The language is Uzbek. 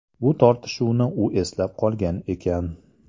Bu tortishuvni u eslab qolgan ekan.